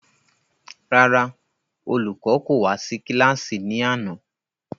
Rárá, olùkọ́ kò wá sí kílàsì ní àná